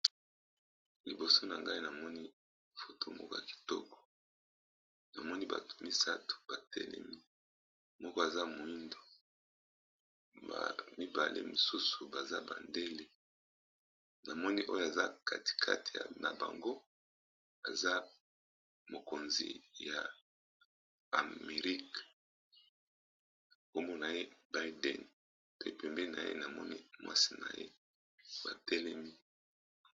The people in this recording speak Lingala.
Liboso na ngai namoni foto moka kitoko na moni bato misato batelemi moko aza moindo, ya mibale mosusu baza bandele, na moni oyo aza kati kati na bango aza mokonzi ya amerike kombo naye baiden to pembeni na ye namoni mwasi na ye batelemi.